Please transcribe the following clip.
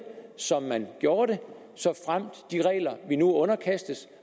som man gjorde det såfremt de regler vi nu underkastes